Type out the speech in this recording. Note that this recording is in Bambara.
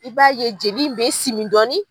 I b'a ye jeli in bɛ simi dɔɔnin.